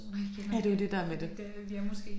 Ja det er jo det der med det